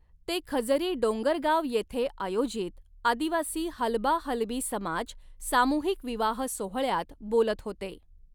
ते खजरी डोंगरगाव येथे आयोजित आदिवासी हलबा हलबी समाज सामूहिक विवाह सोहळ्यात बोलत होते.